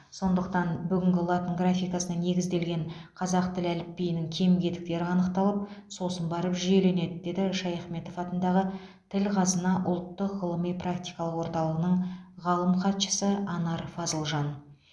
сондықтан бүгінгі латын графикасына негізделген қазақ тілі әліпбиінің кем кетіктері анықталып сосын барып жүйеленеді деді шаяхметов атындағы тіл қазына ұлттық ғылыми практикалық орталығының ғалым хатшысы анар фазылжан